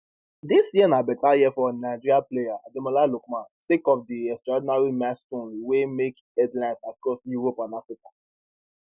dis year na beta year for nigeria player ademola lookman sake of di extraordinary milestones wey make headlines across europe and africa